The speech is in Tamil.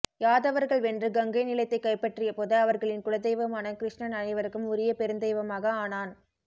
யாதவர்கள் வென்று கங்கைநிலத்தைக் கைப்பற்றியபோது அவர்களின் குலதெய்வமான கிருஷ்ணன் அனைவருக்கும் உரிய பெருந்தெய்வமாக ஆனான்